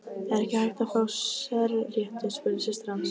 Er ekki hægt að fá sérrétti, spurði systir hans.